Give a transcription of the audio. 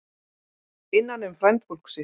Innan um frændfólk sitt